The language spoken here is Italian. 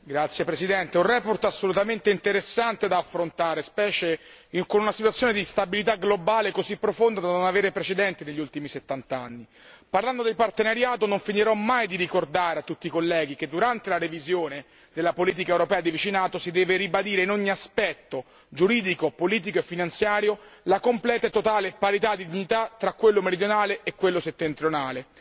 Signor Presidente, onorevoli colleghi, una relazione veramente interessante da affrontare, specialmente con una situazione di instabilità globale così profonda da non avere precedenti negli ultimi settant'anni. Parlando del partenariato, non finirò mai di ricordare a tutti i colleghi che durante la revisione della Politica europea di vicinato si deve ribadire in ogni aspetto giuridico, politico e finanziario la completa e totale parità di dignità tra quello meridionale e quello settentrionale.